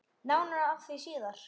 Nánar að því síðar.